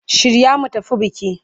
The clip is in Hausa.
Shirya mu tafi biki!